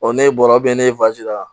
ne bɔra ne ye la